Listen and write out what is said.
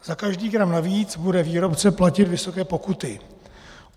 Za každý gram navíc bude výrobce platit vysoké pokuty.